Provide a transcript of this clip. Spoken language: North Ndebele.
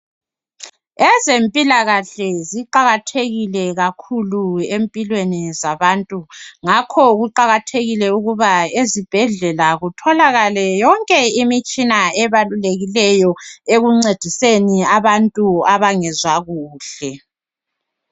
Ezempilakahle ziqakathekile kakhulu empilweni zabantu ngakho kuqakathekile ukuba ezibhedlela kutholakale yonke imitshina ebalulekileyo ekuncediseni baantu abangezwa kuhle